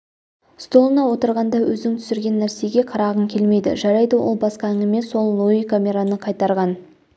столына отырғанда өзің түсірген нәрсеге қарағың келмейді жарайды ол басқа әңгіме сол луи камераны қайтарған